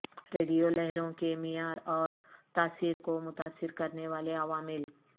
radio لہروں کے معیار اور تاثیر کو متاثر کرنے والے عوامل